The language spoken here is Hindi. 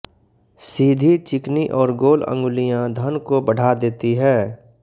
सीधी चिकनी और गोल अंगुलियां धन को बढ़ा देती है